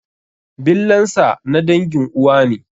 Billansa na dangin uwa ne.